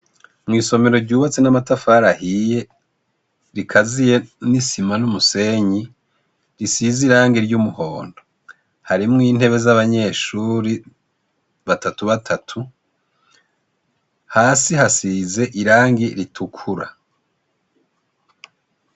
Mw'isomero ryubatse n'amatafari ahiye, rikaziye n'isima n'umusenyi, risize irangi ry'umuhondo. Harimwo intebe y'abanyeshure, batatu batatu. Hasi hasize irangi ritukura.